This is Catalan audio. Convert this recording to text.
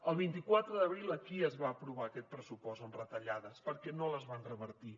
el vint quatre d’abril aquí es va aprovar aquest pressupost amb retallades perquè no les van revertir